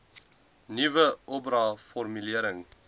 nuwe oba formulering